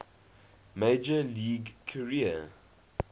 major league career